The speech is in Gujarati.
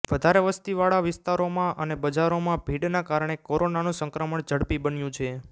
વધારે વસ્તીવાળા વિસ્તારોમાં અને બજારોમાં ભીડના કારણે કોરોનાનું સંક્રમણ ઝડપી બન્યું છે